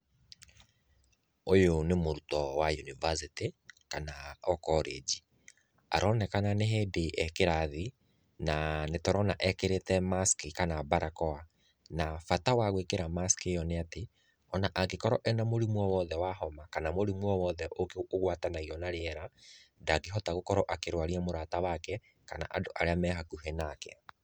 Ũyũ nĩ mũrutwo wa university kana o college. Aronekana nĩ hĩndĩ e kĩrathi, na nĩ tũrona ekĩrĩte mask kana barakoa. Na bata wa gwĩkĩra mask ĩyo nĩ atĩ, ona angĩkorwo ena mũrimũ o wothe wa homa, kana mũrimũ o wothe ũgwatanagio na rĩera, ndangĩhota gũkorwo akĩrwaria mũrata wake kana andũ arĩa me hakuhĩ nake.